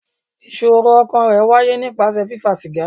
Ìṣòro ọkàn rẹ̀ wáyé nípasẹ̀ fífa sìgá.